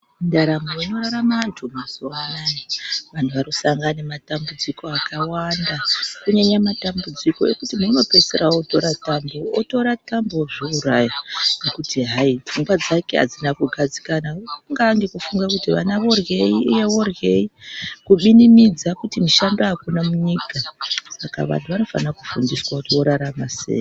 Ndaramo inorarama antu mazuwa anaya antu arusangana nematambudziko akawanda kunyanya matambudziko ekuti muntu unopedzisira otora tambo ozviuraya ngekuti hayi pfungwa dzake adzina kugadzikana kungaa nekufunga kuti ana oryei iye oryei kuzvimimidza kuti mushando amuna munyika saka vantu vanofana kufundiswa kuti vorarama sei.